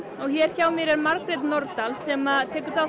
hér hjá mér er Margrét Norðdahl sem